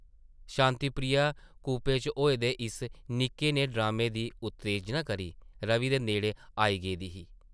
शांति प्रिया कूपे च होए दे इस निक्के नेह् ड्रामे दी उत्तेजना करी रवि दे नेड़ै आई गेदी ही ।